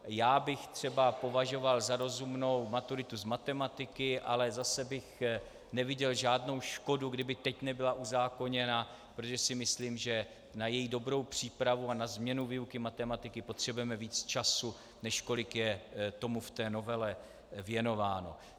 Já bych třeba považoval za rozumnou maturitu z matematiky, ale zase bych neviděl žádnou škodu, kdyby teď nebyla uzákoněna, protože si myslím, že na její dobrou přípravu a na změnu výuky matematiky potřebujeme víc času, než kolik je tomu v té novele věnováno.